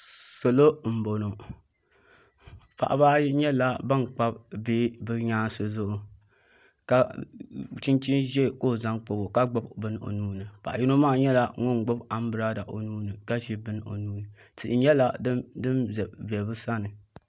Salo n boŋo paɣaba ayi nyɛla ban kpabi bihi bi nyaansi zuɣu chinchin ʒiɛ ka o zaŋ kpabo ka gbubi bini o nuuni paɣa yino maa nyɛla ŋun gbubi anbirala o nuuni ka gbubi bini o nuuni tihi nyɛla din ʒɛ bi sani